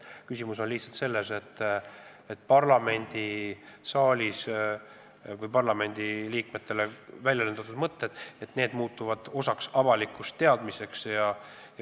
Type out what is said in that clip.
Asi on lihtsalt selles, et parlamendisaalis parlamendiliikmetele väljendatud mõtted muutuvad osaks avalikust teadmisest.